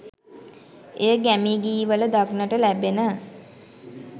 එය ගැමි ගී වල දක්නට ලැබෙන